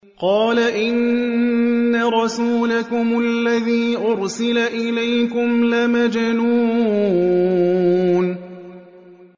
قَالَ إِنَّ رَسُولَكُمُ الَّذِي أُرْسِلَ إِلَيْكُمْ لَمَجْنُونٌ